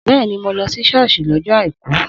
Bẹ́ẹ̀ni, mo lọ sí sọ́ọ́sì lọ́jọ́ àìkú.